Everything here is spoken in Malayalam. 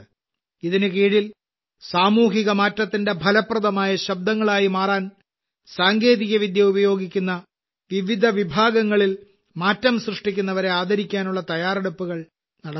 ഇതിനുകീഴിൽ സാമൂഹിക മാറ്റത്തിന്റെ ഫലപ്രദമായ ശബ്ദങ്ങളായി മാറാൻ സാങ്കേതികവിദ്യ ഉപയോഗിക്കുന്ന വിവിധ വിഭാഗങ്ങളിൽ മാറ്റം സൃഷ്ടിക്കുന്നവരെ ആദരിക്കാനുള്ള തയ്യാറെടുപ്പുകൾ നടന്നുവരുന്നു